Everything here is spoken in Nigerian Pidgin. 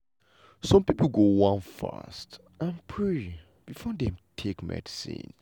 some pipo go wan fast and pray before dem take medicine.